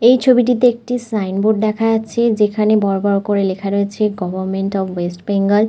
এই ছবিটিতে একটি সাইন বোর্ড দেখা যাচ্ছে যেখানে বড়ো বড়ো করে লেখা রয়েছে গভর্মেন্ট অফ ওয়েস্ট বেঙ্গল ।